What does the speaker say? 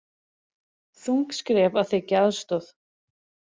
Þung skref að þiggja aðstoð